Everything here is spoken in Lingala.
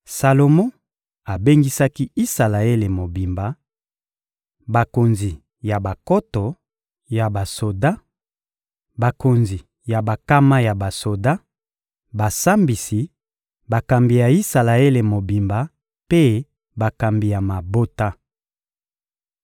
Salomo abengisaki Isalaele mobimba: bakonzi ya bankoto ya basoda, bakonzi ya bankama ya basoda, basambisi, bakambi ya Isalaele mobimba mpe bakambi ya mabota.